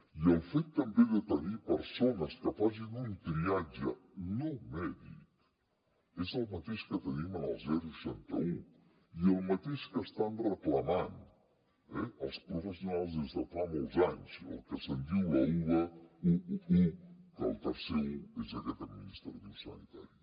i el fet també de tenir persones que facin un triatge no mèdic és el mateix que tenim en el seixanta un i el mateix que estan reclamant eh els professionals des de fa molts anys el que se’n diu la uba un un un que el tercer un és aquest administratiu sanitari